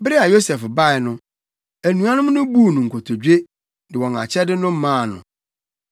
Bere a Yosef bae no, anuanom no buu no nkotodwe, de wɔn akyɛde no maa no.